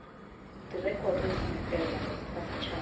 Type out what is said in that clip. direkoto dingwe fela tsa setšhaba